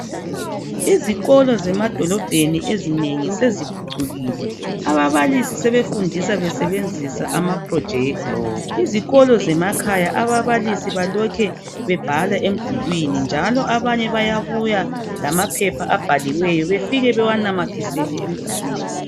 Izikolo zemadolobheni ezinengi seziphucukile ababalisi sebefundisa besebenzisa amaprojector. Izikolo zemakhaya ababalisi balokhe bebhala emdulwini njalo abanye bayabuya lamaphepha abhaliweyo bafike bawanamathisele emdulwini.